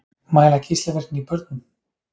Mæla geislavirkni í börnum